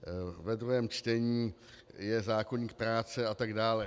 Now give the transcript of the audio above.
Ve druhém čtení je zákoník práce, a tak dále.